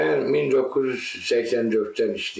Mən 1984-dən işləyirəm.